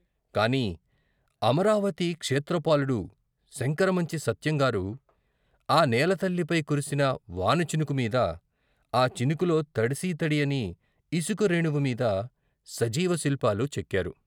కాని అమరావతి క్షేత్రపాలుడు శంకరమంచి సత్యం గారు ఆ నేల తల్లి పై కురిసిన వానచినుకు మీద, ఆ చినుకులో తడిసీ తడియని ఇసుక రేణువుమీద సజీవ శిల్పాలు చెక్కారు.